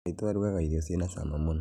Maitũ arũgaga irio cĩna cama mũno